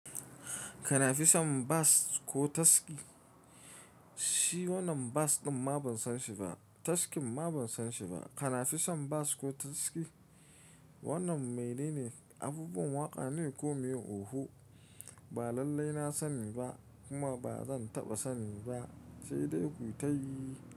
Kanafisan bas ko taski? Shi wannan bas ɗin ma ban san shi ba, taskin ma ban san shi ba. Kanafisan bas ko taski? Wannan mene ne? Abubuwan waƙa ne ko me oho? Ba lallai na sani ba kuma ba zan taɓa sani ba sai dai kuyi tayi.